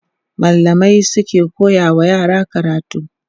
mallamai suke koya wa yara karatu